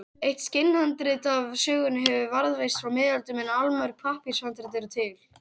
eitt skinnhandrit af sögunni hefur varðveist frá miðöldum en allmörg pappírshandrit eru til